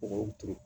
Mɔgɔw turu